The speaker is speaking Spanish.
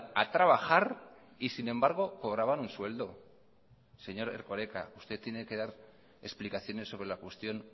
a trabajar y sin embargo cobraban un sueldo señor erkoreka usted tiene que dar explicaciones sobre la cuestión